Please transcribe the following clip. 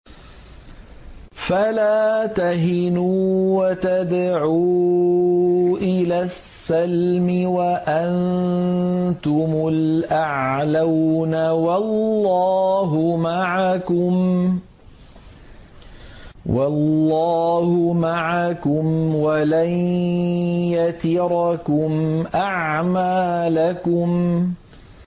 فَلَا تَهِنُوا وَتَدْعُوا إِلَى السَّلْمِ وَأَنتُمُ الْأَعْلَوْنَ وَاللَّهُ مَعَكُمْ وَلَن يَتِرَكُمْ أَعْمَالَكُمْ